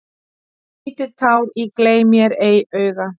Lítið tár í gleym-mér-ei-auga.